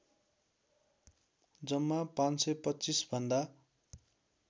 जम्मा ५२५ भन्दा